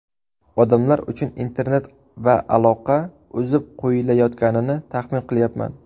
Odamlar uchun internet va aloqa uzib qo‘yilayotganini taxmin qilyapman.